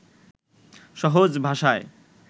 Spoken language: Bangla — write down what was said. সহজ ভাষায়